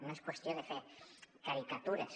no és qüestió de fer caricatures